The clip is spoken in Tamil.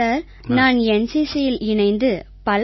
சார் நான் NCCயில் இணைந்து பல